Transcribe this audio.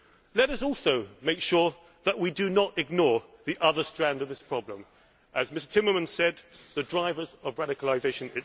Let us also make sure that we do not ignore the other strand of this problem, namely as, Mr Timmermans said the drivers of radicalisation.